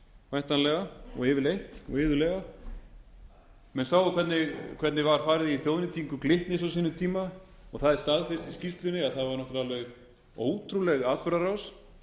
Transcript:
væntanlega og yfirleitt og iðulega menn sáu hvernig var farið í þjóðnýtingu glitnis á sínum tíma það er staðfest í skýrslunni að það var náttúrlega alveg ótrúleg atburðarás